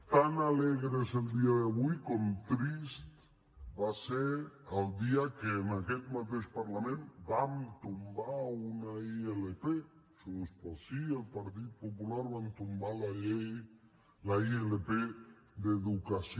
tan alegre és el dia d’avui com trist va ser el dia que en aquest mateix parlament vam tombar una ilp junts pel sí i el partit popular van tombar la ilp d’educació